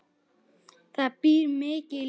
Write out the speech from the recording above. Það býr mikið í liðinu.